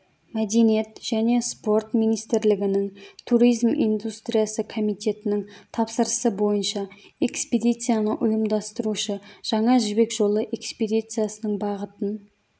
мәдениет және спорт министрлігінің туризм индустриясы комитетінің тапсырысы бойынша экспедицияны ұйымдастырушы жаңа жібек жолы экспедициясының бағытын